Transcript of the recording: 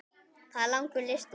Það er langur listi.